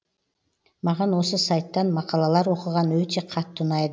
маған осы сайттан мақалалар оқыған өте қатты ұнайды